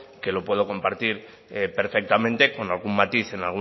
que lo puedo compartir perfectamente con algún matiz en